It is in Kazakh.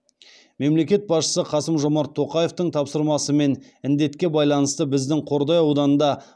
мемлекет басшысы қасым жомарт тоқаевтың тапсырмасымен індетке байланысты біздің қордай ауданында